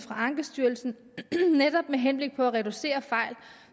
af ankestyrelsen netop med henblik på at reducere fejl